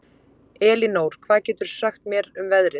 Elinór, hvað geturðu sagt mér um veðrið?